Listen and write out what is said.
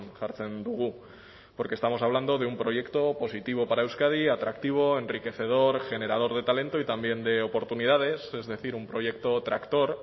jartzen dugu porque estamos hablando de un proyecto positivo para euskadi atractivo enriquecedor generador de talento y también de oportunidades es decir un proyecto tractor